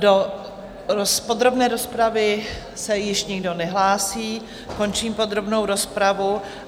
Do podrobné rozpravy se již nikdo nehlásí, končím podrobnou rozpravu.